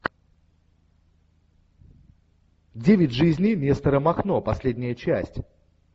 девять жизней нестора махно последняя часть